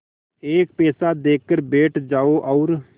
एक पैसा देकर बैठ जाओ और